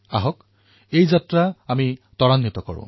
আহক এই যাত্ৰাক আমি আৰু অধিক আগুৱাই লৈ যাওঁ